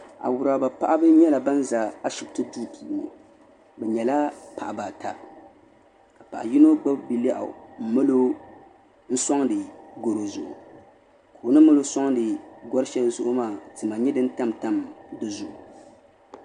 Awuraba paɣaba nyɛla bini zi ashibiti duu puuni bi nyɛla paɣaba ata ka paɣa yino gbubi bi' lɛɣu n mali o n suaŋdi garo zuɣu o ni mali o suaŋdi gari shɛli zuɣu maa tima n nyɛ dini tamtam di zuɣu.